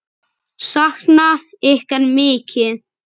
Sakna ykkar mikið.